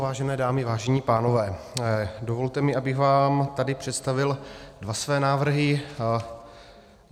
Vážené dámy, vážení pánové, dovolte mi, abych vám tady představil dva své návrhy.